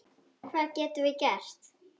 Hvað getum við gert?